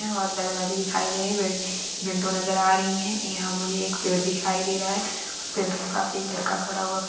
यहाँ और दरवाजे दिखाई दे रहे है वी विण्डो नज़र आ रही है यहाँ मुझे एक पेड़ दिखाई दे रहा है पेड़ के पास एक लडका खड़ा हुआ--